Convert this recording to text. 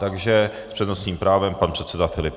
Takže s přednostním právem pan předseda Filip.